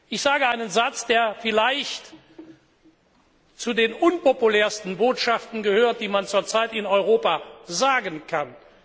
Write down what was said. Ich sage einen Satz, der vielleicht zu den unpopulärsten Botschaften gehört, die man zurzeit in Europa sagen kann.